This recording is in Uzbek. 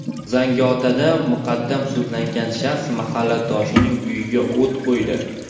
Zangiotada muqaddam sudlangan shaxs mahalladoshining uyiga o‘t qo‘ydi.